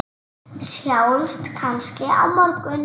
Sjáumst kannski á morgun!